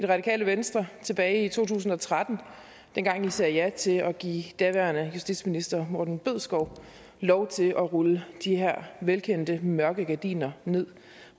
radikale venstre tilbage i to tusind og tretten dengang i sagde ja til at give daværende justitsminister morten bødskov lov til at rulle de her velkendte mørke gardiner ned